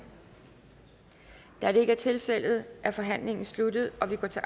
da det ikke er tilfældet er forhandlingen sluttet og vi går til